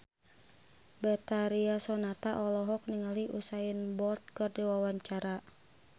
Betharia Sonata olohok ningali Usain Bolt keur diwawancara